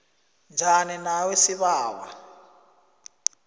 njani nawe sibawa